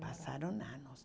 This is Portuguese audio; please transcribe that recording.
Passaram anos.